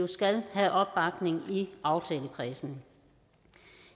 skal have opbakning i aftalekredsen